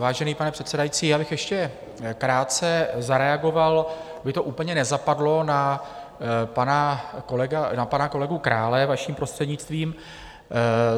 Vážený pane předsedající, já bych ještě krátce zareagoval, aby to úplně nezapadlo, na pana kolegu Krále, vaším prostřednictvím.